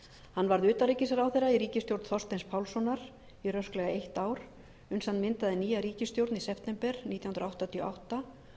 hann varð utanríkisráðherra í ríkisstjórn þorsteins pálssonar í rösklega eitt ár uns hann myndaði nýja ríkisstjórn í september nítján hundruð áttatíu og átta